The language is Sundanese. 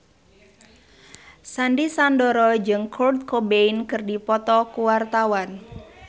Sandy Sandoro jeung Kurt Cobain keur dipoto ku wartawan